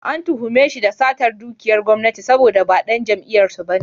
An tuhume shi da satar dukiyar gwamnati saboda ba ɗan jam'iyyar su ba ne.